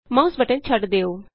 mouse button ਛੱਡ ਦਿਉ